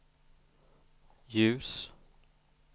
ljus